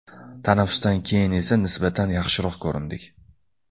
Tanaffusdan keyin esa nisbatan yaxshiroq ko‘rindik.